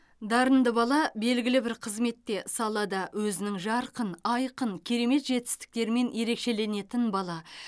дарынды бала белгілі бір қызметте салада өзінің жарқын айқын керемет жетістіктерімен ерекшеленетін бала